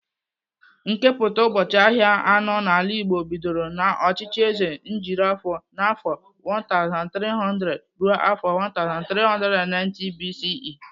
Nkepụta ubọchị ahịa anọ n'ala Igbo bidoro n'ọchịchị Eze Nrijiofor n'afọ 1300-1390 BCE.